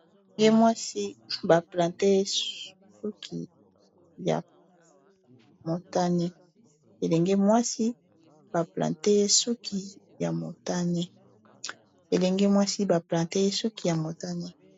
elenge mwasi baplante suki ya motagne